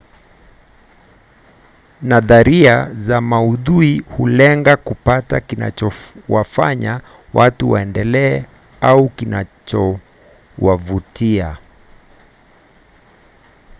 nadharia za maudhui hulenga kupata kinachowafanya watu waendelee au kinachowavutia